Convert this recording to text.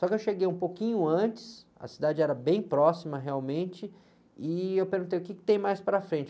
Só que eu cheguei um pouquinho antes, a cidade era bem próxima realmente, e eu perguntei, o que tem mais para frente?